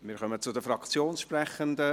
Wir kommen zu den Fraktionssprechenden;